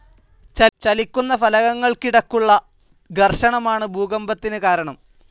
ചലിക്കുന്ന ഫലകങ്ങൾക്കിടക്കുള്ള ഘർഷണമാണ്‌ ഭൂകമ്പത്തിന്‌ കാരണം.